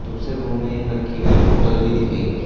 दूसरे रूम में एक रखी हुई बॉटल भी दिखाई --